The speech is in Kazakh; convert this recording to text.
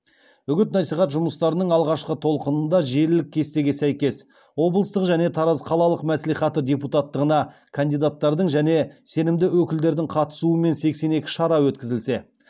үгіт насихат жұмыстарының алғашқы толқынында желілік кестеге сәйкес облыстық және тараз қалалық мәслихаты депутаттығына кандидаттардың және сенімді өкілдердің қатысуымен сексен екі шара өткізілсе